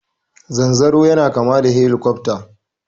Zanzaro yana kama da shelikofta.